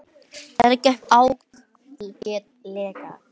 Þetta gekk ágætlega.